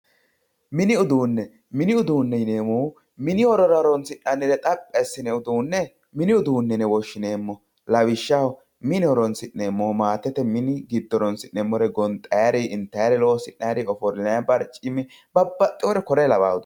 Mini uduune mini uduune yinemohu mini horora horonsinani uduune mini uduune yine woshineemo lawishaho mini giddo horonsinemori gonxayiri intayir ofolinayiri babaxewore kore lawano uduunet